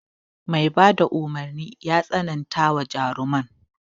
Mai bada umarnin ya tsanantawa jaruman.